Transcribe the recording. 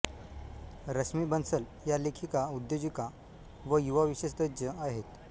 रश्मी बन्सल या लेखिका उद्योजिका व युवा विशेष तज्ज्ञ आहेत